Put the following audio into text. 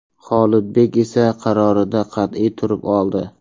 Xolidbek esa qarorida qat’iy turib oldi.